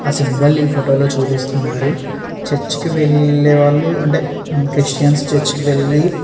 ఆ సింబల్ ఈ ఫోటో లో చూపిస్తున్నారు చర్చి కి వెళ్ళేవాళ్ళు అంటే క్రిస్టియన్స్ చర్చి కి వెళ్ళి --